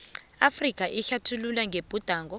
afrika ehlathululwa ngebhudango